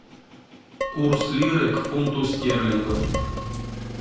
курс лиры к фунту стерлингов